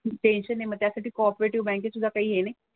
Tension नाही मग त्यासाठी कॉपरेटिव्ह बँकेत सुद्धा काही हे नाही.